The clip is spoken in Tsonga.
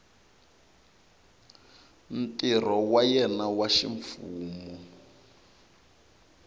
ntirho wa yena wa ximfumo